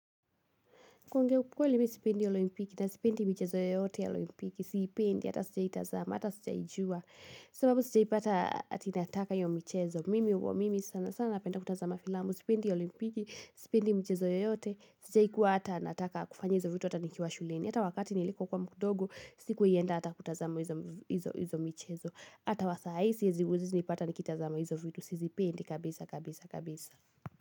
Kuongea ukweli mi sipendi olimpiki na sipendi michezo yoyote ya olimpiki siipendi, hata sijawai tazama, hata sijawai juwa. Sababu sijai pata ati nataka hiyo michezo, mimi huwa sanasana napenda kutazama filamu, sipendi olimpiki, sipendi michezo yoyote, sijai kuwa hata nataka kufanya hizo vitu, hata nikiwa shuleni. Hata wakati nilikokuwa mdogo, sikuwai enda hata kutazama hizo michezo. Hata wa saa hii huwezi nipata nikitazama hizo vitu, sizipendi kabisa kabisa kabisa.